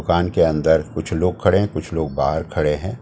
दुकान के अंदर कुछ लोग खड़े हैं कुछ लोग बाहर खड़े हैं।